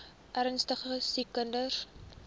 ernstige siek kinders